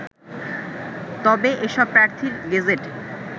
তবে এসব প্রার্থীর গেজেট